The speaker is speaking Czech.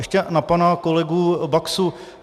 Ještě na pana kolegu Baxu.